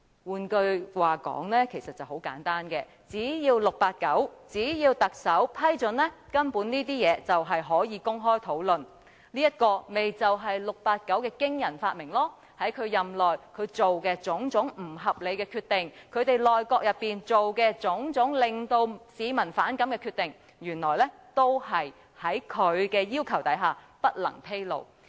換句話說，很簡單，只要 "689" 特首批准，根本這些事情便可以公開討論，這便是 "689" 的驚人發明，在他任內作出的種種不合理決定，以及其內閣作出的種種令市民反感的決定，原來均在其要求下不能披露。